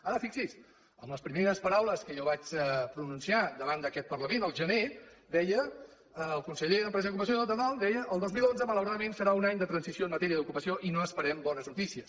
ara fixi s’hi en les primeres paraules que jo vaig pronunciar davant d’aquest parlament el gener deia el conseller d’empresa i ocupació deia el dos mil onze malauradament serà un any de transició en matèria d’ocupació i no esperem bones notícies